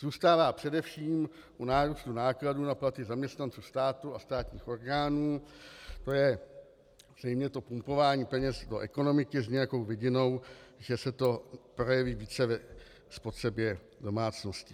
Zůstává především u nárůstu nákladů na platy zaměstnanců státu a státních orgánů, to je zřejmě to pumpování peněz do ekonomiky s nějakou vidinou, že se to projeví více ve spotřebě domácností.